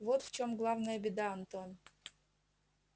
вот в чём главная беда антон